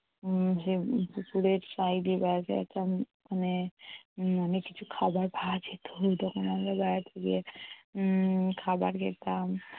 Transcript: উম পুকুরের side এ বেড়াতে যেতাম মানে অনেক কিছু খাবার পাওয়া যেতো ওরকম আমরা বেড়াতে গিয়ে উম খাবার খেতাম